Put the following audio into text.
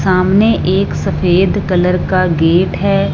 सामने एक सफेद कलर का गेट है।